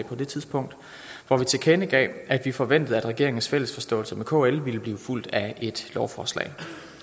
på det tidspunkt hvor vi tilkendegav at vi forventede at regeringens fælles forståelse med kl ville blive fulgt af et lovforslag